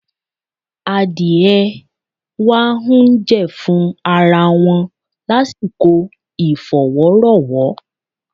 Adìẹ wá ń jẹ̀fun ara wọn lásìkò ìfowórowó.